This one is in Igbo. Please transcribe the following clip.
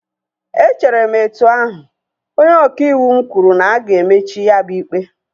Echere m etu ahu, onye ọka ịwụ m kwuru na-aga emechi ya bụ ikpe